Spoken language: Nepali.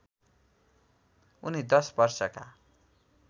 उनी १० वर्षका